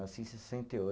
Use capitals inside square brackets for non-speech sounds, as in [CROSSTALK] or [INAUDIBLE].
Nasci em sessenta e [UNINTELLIGIBLE]